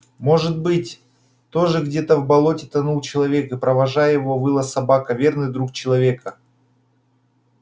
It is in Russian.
может быть тоже где-то в болоте тонул человек и провожая его выла собака верный друг человека